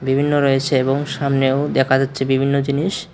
বিভিন্ন রয়েছে এবং সামনেও দেখা যাচ্ছে বিভিন্ন জিনিস।